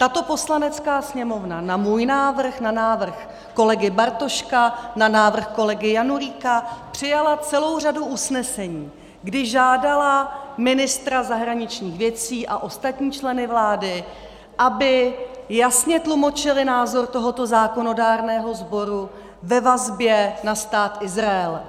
Tato Poslanecká sněmovna na můj návrh, na návrh kolegy Bartoška, na návrh kolegy Janulíka přijala celou řadu usnesení, kdy žádala ministra zahraničních věcí a ostatní členy vlády, aby jasně tlumočili názor tohoto zákonodárného sboru ve vazbě na Stát Izrael.